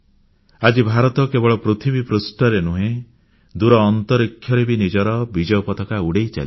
ଆଜି ଭାରତ କେବଳ ପୃଥିବୀ ପୃଷ୍ଠରେ ନୁହେଁ ଦୂର ଅନ୍ତରୀକ୍ଷରେ ବି ନିଜର ବିଜୟ ପତାକା ଉଡ଼ାଇ ଚାଲିଛି